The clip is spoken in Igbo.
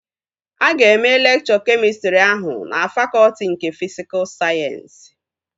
Aga eme lekchọ kemịstrị ahụ na fakọtị nke fisikul sayensị